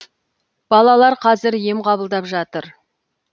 балалар қазір ем қабылдап жатыр